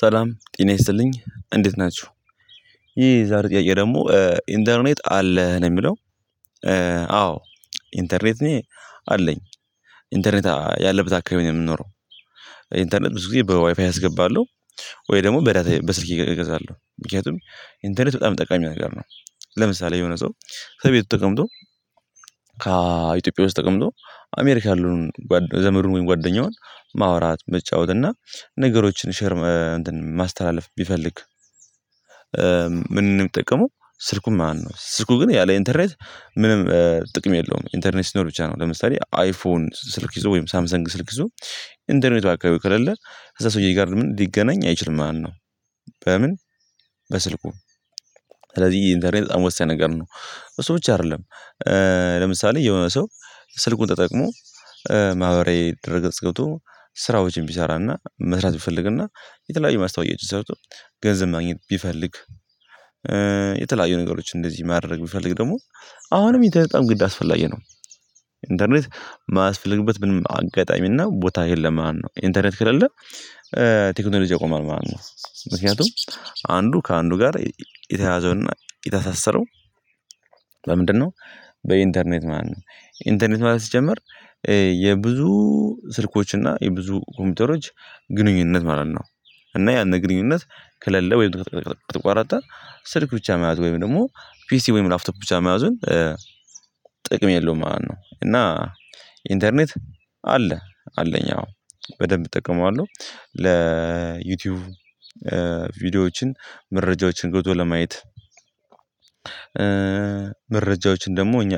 ሰላም ጤና ይስጥልኝ እንዴት ናችሁ። ይሄ የዛሬ ጥያቄ ደግሞ ኢንተርኔት አለ ነው የሚለው? አዎ ኢንተርኔት እኔ አለኝ ኢንተርኔት ያለበት አካባቢ የምንኖረው። ኢንተርኔት ብዙ ጊዜ በዋይፋይ አስገባለሁ ወይ ደግሞ በዳታዬ በስልኬ እገዛለሁ ምክንያቱም ኢንተርኔት በጣም ጠቃሚ ነገር ነው። ለምሳሌ የሆነ ሰው ከቤቱ ተቀምጦ ከኢትዮጵያ ውስጥ ተቀምጦ አሜሪካን ያለውን ዘመዱን ወይ ጓደኛውን ማውራት መጫወት እና ነገሮችን ሼር ማ እንትን ማስተላለፍ ቢፈልግ። ምንድነው ምንጠቀመው ስልኩን ማለት ነው። ስልኩ ግን ያለ ኢንተርኔት ምንም ጥቅም የለውም። ኢንተርኔት ሲኖር ብቻ ነው ለምሳሌ አይፎን ስልክ ይዞ ወይም ሳምሰንግ ስልክ ይዞ ኢንተርኔቱ አካባቢው ከሌለ ከእዛ ሰውዬ ጋር ምንም ሊገናኝ አይችልም ማለት ነው። በምን በስልኩ? ስለዚህ ኢንተርኔት በጣም ወሳኝ ነገር ነው እሱ ብቻ አይደለም። ለምሳሌ የሆነ ሰው ስልኩን ተጠቅሞ ማህበራዊ ድረ-ገጽ ገብቶ ስራዎችን ቢሰራና መስራት ቢፈልግና የተለያዩ ማስታወቂያዎችን ሰርቶ ገንዘብ ማግኘት ቢፈልግ። የተለያዩ ነገሮች እንደዚህ ማድረግ ቢፈልግ ደግሞ አሁንም ኢንተርኔት በጣም ግድ አስፈላጊ ነው። ኢንተርኔት የማያስፈልግበት ምንም አጋጣሚና ቦታ የለም ማለት ነው ነው። ኢንተርኔት ከሌለ ቴክኖሎጂ ያቆማል ማለት ነው። ምክንያቱም አንዱ ከአንዱ ጋር የተያያዘውና የተሳሰረው በምንድነው? በኢንተርኔት ማለት ነው። ኢንተርኔት ማለት ሲጀመር የብዙ ስልኮችና የብዙ ኮምፒውተሮች ግንኙነት ማለት ነው። እና ያን ግንኙነት ከሌለ ወይም ከተቋረጠ ስልክ ብቻ መያዝ ወይም ደግሞ ፒሲ ወይም ላፍቶፕ ብቻ መያዝን ጥቅም የለውም ማለት ነው። እና ኢንተርኔት አለ አለኝ አዎ በደንብ እጠቀመዋለሁ። ለዩቲዩብ ቪዲዮዎችን መረጃዎችን ገብቶ ለማየት። መረጃዎችን ደግሞ እኛ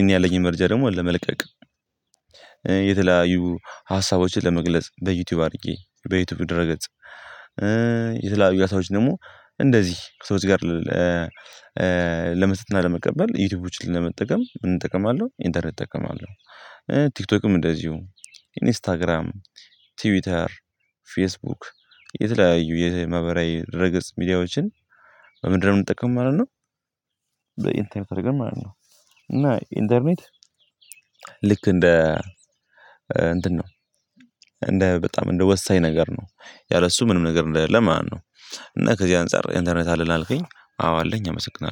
እኔ ያለኝ መረጃ ደግሞ ለመልቀቅ የተለያዩ ሀሳቦችን ለመግለጽ በዩቲዩብ አድርጌ በዩቲዩብ ደረ-ገጽ። ሰዎች ደግሞ እንደዚህ ከሰዎች ጋር ለመስጠት እና ለመቀበል ዩቲዩቦችን ለመጠቀም ምን እጠቀማለሁ ኢንተርኔት እጠቀማለሁ። ቲክቶክም እንደዚሁ ኢንስታግራም ትዊተር ፌስቡክ የተለያዩ የማህበራዊ ድረ-ገጽ ሚዲያዎችን በምንድን ነው የምንጠቀመው ማለት ነው። በኢንተርኔት አድርገን ማለት ነው። እና ኢንተርኔት ልክ እንደ እንትን ነው እንደ በጣም እንደ ወሳኝ ነገር ነው። ያለሱ ምንም ነገር እንደሌለ ማነው? እና ከዚህ አንፃር ኢንተርኔት አለህ አልከኝ አዎ አለኝ። አመሰግናለሁ